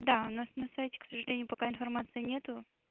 да у нас на сайте к сожалению пока информации нет